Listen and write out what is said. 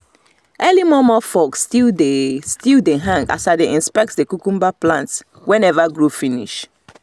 early momo fogs still dey still dey hang as i dey inspect the cucumber plants wey never grow finish